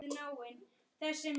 Gera þeir, sem heyi hlaða.